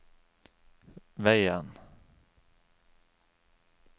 veien